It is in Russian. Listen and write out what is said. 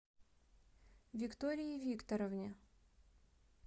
виктории викторовне